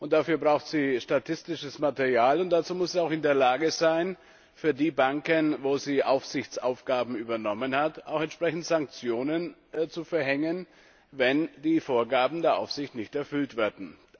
Dafür braucht sie statistisches Material, und dazu muss sie auch in der Lage sein, für die Banken, bei denen sie Aufsichtsaufgaben übernommen hat, entsprechend Sanktionen zu verhängen, wenn die Vorgaben der Aufsicht nicht erfüllt werden.